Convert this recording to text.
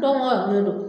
Dɔnku